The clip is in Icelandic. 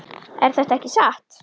Er þetta ekki satt?